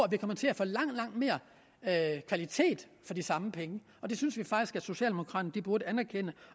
vi kommer til at få langt langt mere kvalitet for de samme penge og det synes vi faktisk at socialdemokraterne burde anerkende